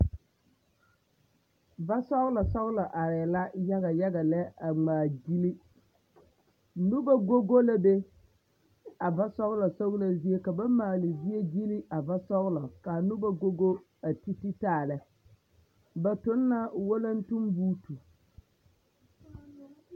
Va sɔglɔ sɔglɔ arɛɛ la yaga yaga lɛ a ngmaa gyille nobɔ go go la be a va sɔglɔ sɔglɔ zie ka ba maale zie gyile a va sɔglɔ kaa nobɔ go go a ti ti taalɛ ba tuŋ la walantenboote.